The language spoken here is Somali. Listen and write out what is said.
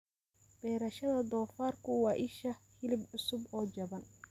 Beerashada doofaarku waa isha hilib cusub oo jaban.